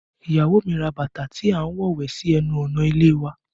Iyawo mi ra bàtà tí a ń wọ wẹ̀ sí ẹnu ọ̀nà ilé ìwẹ̀